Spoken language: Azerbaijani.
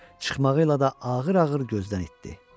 Çıxmağı ilə də ağır-ağır gözdən itdi.